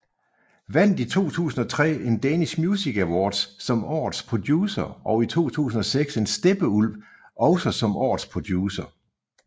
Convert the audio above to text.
Vandt i 2003 en Danish Music Awards som årets producer og i 2006 en Steppeulv også som årets producer